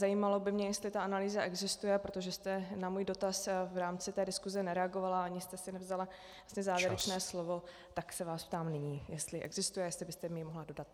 Zajímalo by mě, jestli ta analýza existuje, protože jste na můj dotaz v rámci té diskuze nereagovala ani jste si nevzala závěrečné slovo, tak se vás ptám nyní, jestli existuje, jestli byste mi ji mohla dodat.